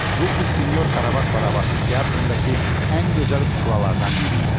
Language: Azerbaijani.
Bu qız sinyor Karabas Barabasın teatrındakı ən gözəl kuklalardan biri idi.